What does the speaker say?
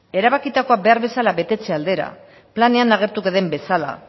erabakitakoa behar bezala betetze aldera planean agertuko den bezala